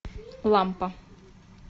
лампа